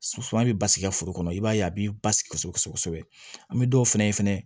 Suman bɛ basigi i ka foro kɔnɔ i b'a ye a b'i basigi kosɛbɛ kosɛbɛ kosɛbɛ an bɛ dɔw fɛnɛ